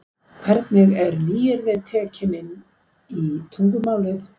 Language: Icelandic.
Hvernig eru nýyrði tekin inn í tungumálið.